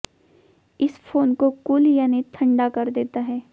इस फोन को कूल यानी ठंडा कर देता है